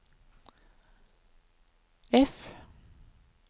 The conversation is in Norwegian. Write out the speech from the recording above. F